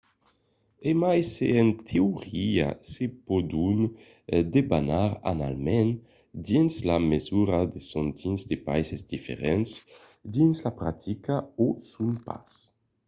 e mai se en teoria se pòdon debanar annalament dins la mesura que son dins de païses diferents dins la practica o son pas